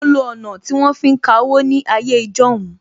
Mo lo ọ̀nà tí wọ́n fi ń ka owó ní ayé ijọ́hun